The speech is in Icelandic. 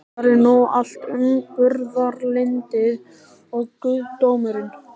Hvar er nú allt umburðarlyndið og guðdómurinn?